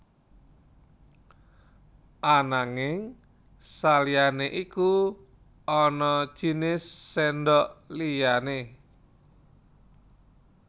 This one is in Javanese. Ananging saliyané iku ana jinis sèndhok liyané